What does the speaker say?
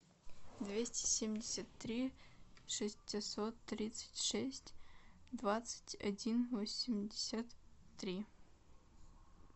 двести семьдесят три шестьсот тридцать шесть двадцать один восемьдесят три